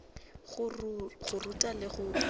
go ruta le go ithuta